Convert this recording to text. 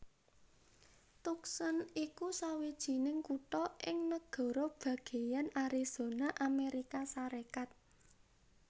Tucson iku sawijining kutha ing nagara bagéyan Arizona Amérika Sarékat